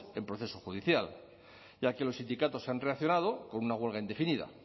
en proceso judicial ya que los sindicatos han reaccionado con una huelga indefinida